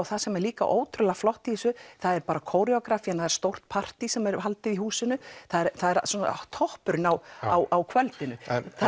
það sem er líka ótrúlega flott í þessu það er kóreógrafían það er stórt partí sem er haldið í húsinu það er toppurinn á á kvöldinu